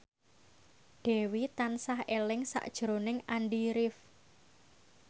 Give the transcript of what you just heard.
Dewi tansah eling sakjroning Andy rif